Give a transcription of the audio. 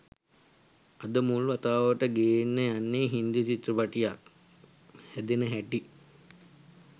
අද මුල් වතාවට ගෙන්න යන්නේ හින්දි චිත්‍රපටියක් හැදෙන හැටි